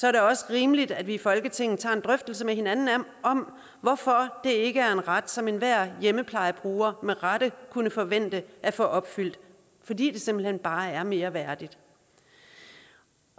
er det også rimeligt at vi i folketinget tager en drøftelse med hinanden om hvorfor det ikke er ret som enhver hjemmeplejebruger med rette kunne forvente at få opfyldt fordi det simpelt hen bare er mere værdigt